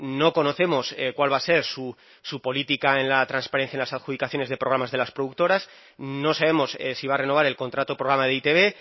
no conocemos cuál va a ser su política en la transparencia en las adjudicaciones de programas de las productoras no sabemos si va a renovar el contrato programa de e i te be